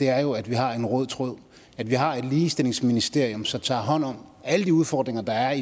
er jo at vi har en rød tråd og at vi har et ligestillingsministerium som tager hånd om alle de udfordringer der er